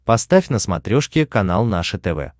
поставь на смотрешке канал наше тв